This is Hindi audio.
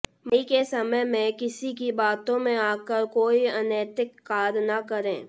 मई के समय में किसी की बातों में आकर कोई अनैतिक कार्य न करें